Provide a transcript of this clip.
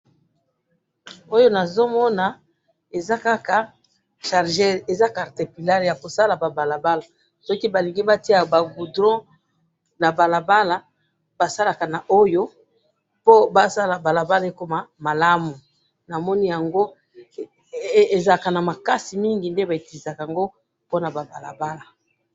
Oyo nazomona Eza Kaka chargeur, Eza cartepillar Yako sala ba balabala. Soki Balingi batia ba goudrons na kati ya balabala, basalaka na Oyo, mpo basalaka balabala ekoma malamu, namoni Yango, ezalaka na makasi mingi nde ba utilisaka ango pona ba balabala.